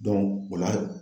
o la hal